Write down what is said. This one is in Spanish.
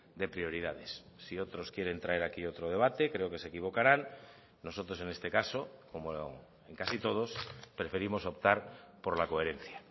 de prioridades si otros quieren traer aquí otro debate creo que se equivocarán nosotros en este caso como en casi todos preferimos optar por la coherencia